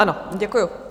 Ano, děkuji.